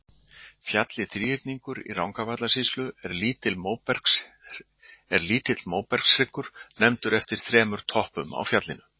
Fjallið Þríhyrningur í Rangárvallasýslu er lítill móbergshryggur nefndur eftir þremur toppum á fjallinu.